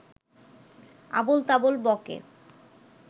আবোলতাবোল ব’কে